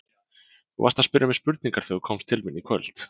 Þú varst að spyrja mig spurningar þegar þú komst til mín í kvöld.